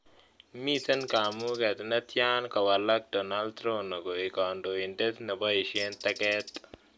Miten kamuget ne tyan kowalak donald rono koik kandoindet ne boisyen teget